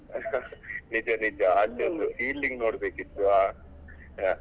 ನಿಜ ನಿಜ ಅವ್ರದ್ದು fielding ನೋಡ್ಬೇಕಿತ್ತು ಅಹ್ ಅಹ್.